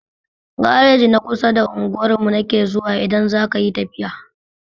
Gareji na kusa da unguwar mu nake zuwa idan zakayi tafiya